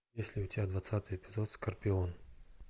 есть ли у тебя двадцатый эпизод скорпион